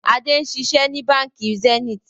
Adé ń ṣiṣẹ́ ni Báńkì Zenith.